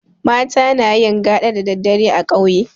Mata nayin gaɗa da daddare a ƙauye